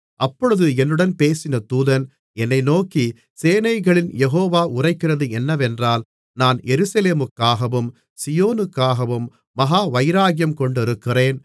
அப்பொழுது என்னுடன் பேசின தூதன் என்னை நோக்கி சேனைகளின் யெகோவா உரைக்கிறது என்னவென்றால் நான் எருசலேமுக்காகவும் சீயோனுக்காகவும் மகா வைராக்கியம் கொண்டிருக்கிறேன்